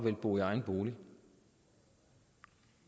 at bo i egen bolig